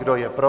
Kdo je pro?